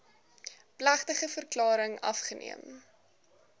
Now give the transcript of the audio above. plegtige verklaring afgeneem